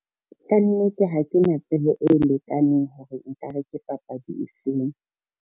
Kannete ha ke na tsebo e lekaneng hore nkare ke papadi e feng.